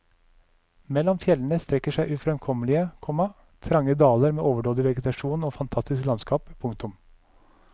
Mellom fjellene strekker seg ufremkommelige, komma trange daler med overdådig vegetasjon og fantastisk landskap. punktum